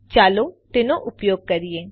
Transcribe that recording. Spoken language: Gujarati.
ચાલો તેનો ઉપયોગ કરીએ